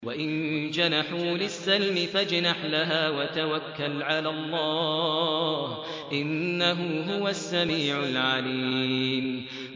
۞ وَإِن جَنَحُوا لِلسَّلْمِ فَاجْنَحْ لَهَا وَتَوَكَّلْ عَلَى اللَّهِ ۚ إِنَّهُ هُوَ السَّمِيعُ الْعَلِيمُ